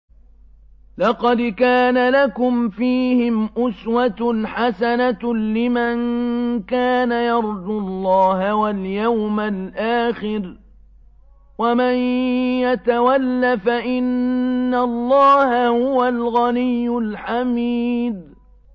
لَقَدْ كَانَ لَكُمْ فِيهِمْ أُسْوَةٌ حَسَنَةٌ لِّمَن كَانَ يَرْجُو اللَّهَ وَالْيَوْمَ الْآخِرَ ۚ وَمَن يَتَوَلَّ فَإِنَّ اللَّهَ هُوَ الْغَنِيُّ الْحَمِيدُ